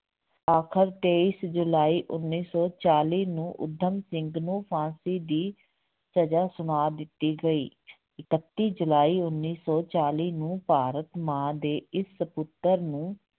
ਆਖਰ ਤੇਈਸ ਜੁਲਾਈ ਉੱਨੀ ਸੌ ਚਾਲੀ ਨੂੰ ਊਧਮ ਸਿੰਘ ਨੂੰ ਫ਼ਾਂਸੀ ਦੀ ਸਜ਼ਾ ਸੁਣਾ ਦਿੱਤੀ ਗਈ ਇਕੱਤੀ ਜੁਲਾਈ ਉੱਨੀ ਸੌ ਚਾਲੀ ਨੂੰ ਭਾਰਤ ਮਾਂ ਦੇ ਇਸ ਪੁੱਤਰ ਨੂੰ